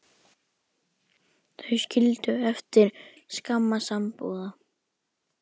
Þau skildu eftir skamma sambúð.